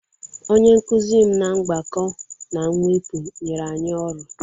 Onye nkuzi m na mgbakọ na mwepụ nyere anyị ọrụ.